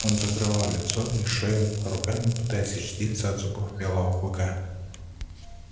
он закрывал лицо и шею руками пытаясь защититься от зубов белого клыка